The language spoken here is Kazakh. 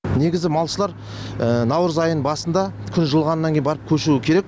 негізі малшылар наурыз айының басында күн жылығаннан кейін барып көшуі керек